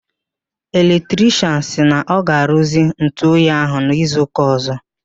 Electrichịanụ sịrị na ọ ga-aruzi ntụ oyi ahụ n'izu ụka ọzọ.